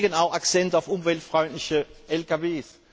Wir legen auch Akzente auf umweltfreundliche Lkw.